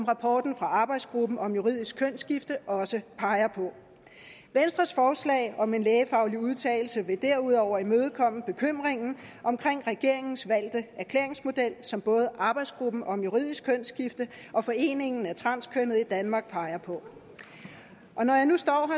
rapporten fra arbejdsgruppen om juridisk kønsskifte også peger på venstres forslag om en lægefaglig udtalelse vil derudover imødekomme bekymringen om regeringens valgte erklæringsmodel som både arbejdsgruppen om juridisk kønsskifte og foreningen af transkønnede i danmark peger på og når jeg nu står